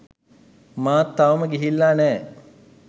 මාත් තවම ගිහිල්ල නෑ.